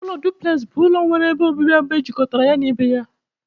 Ụlọ duplex bụ ụlọ nwere ebe obibi abụọ ejikọtara ya na ibe ya.